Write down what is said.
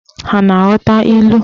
Ha a na-aghọta ilu?